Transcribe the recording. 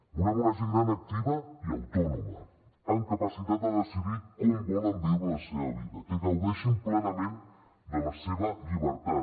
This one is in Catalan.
volem una gent gran activa i autònoma amb capacitat de decidir com volen viure la seva vida que gaudeixin plenament de la seva llibertat